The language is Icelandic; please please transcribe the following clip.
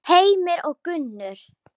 Heimir og Gunnur.